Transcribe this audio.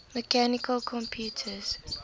mechanical computers